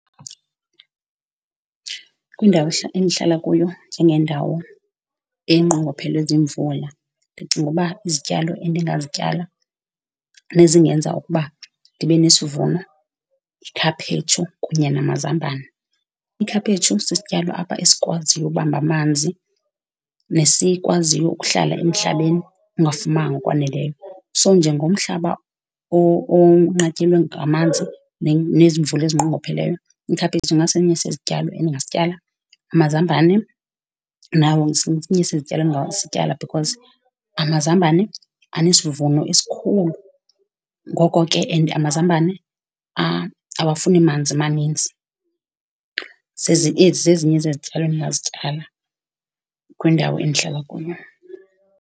Kwindawo endihlala kuyo njengendawo enqongophelwe ziimvula, ndicinga uba izityalo endingazityala nezingenza ukuba ndibe nesivuno yikhaphetshu kunye namazambane. Ikhaphetshu sisityalo apha esikwaziyo ubamba amanzi nesikwaziyo ukuhlala emhlabeni ongafumanga ngokwaneleyo. So, njengomhlaba onqatyelwe ngamanzi nezimvula ezinqongopheleyo, ikhaphetshu ingasesinye sezityalo endingasityala. Amazambane nawo sesinye sezityalo endingasityala because amazambane anesivuno esikhulu, ngoko ke and amazambane awafuni manzi maninzi. Zezi ezi zezinye zezityalo endingazityala kwindawo endihlala kuyo.